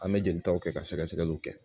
An bɛ jelitaw kɛ ka sɛgɛsɛgɛliw kɛ